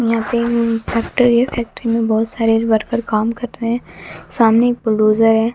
यहां पे ऊं फैक्ट्री है फैक्ट्री में बहोत सारे वर्कर काम कर रहे हैं सामने एक बुलडोजर है।